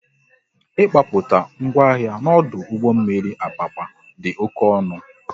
Ị gbapụta ngwa ahịa n'ọdụ ụgbọ mmiri Apapa dị oké ọnụ